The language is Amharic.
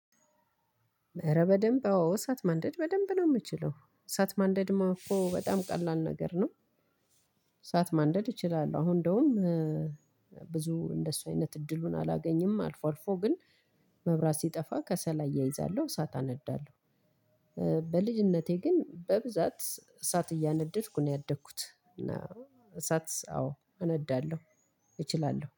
አረ በደንብ አዎ እሳት ማንደድ በደንብ ነው የምችለው እሳት ማንደድማ እኮ በጣም ቀላል ነገር ነው። እሳት ማንደድ እችላለሁ አሁን እንደውም። ብዙ እንደሱ አይነት እድሉን አላገኝም አልፎ አልፎ ግን መብራት ሲጠፋ ከሰል እያይዛለሁ እሳት አነዳለሁ። በልጅነቴ ግን በብዛት እሳት እያነደድኩ ነው ያደግኩት እና። እሳት አዎ አነዳለሁ እችላለሁ